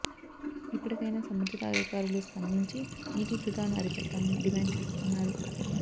ఇప్పటికైనా సంబంధిత అధికారులు స్పందించి నీటి వృధాను అరికట్టాలని డిమాండ్ చేస్తున్నారు